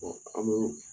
an bɛ